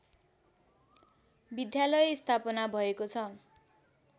विद्यालय स्थापना भएको छ